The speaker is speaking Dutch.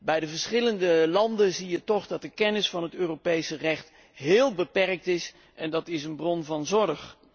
In de verschillende landen is de kennis van het Europese recht heel beperkt en dat is een bron van zorg.